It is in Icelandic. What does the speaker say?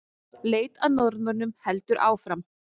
Leit að Norðmönnunum heldur áfram